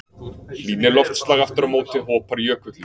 Hlýni loftslag aftur á móti hopar jökullinn.